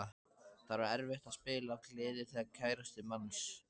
Það var erfitt að spila af gleði þegar kærastinn manns.